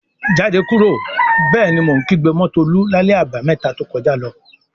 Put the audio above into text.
"Jáde kúrò!" Bẹ́ẹ̀ ni mo kígbe mọ́ Tolú lálẹ́ Àbàmẹ́ta to kọjá lọ.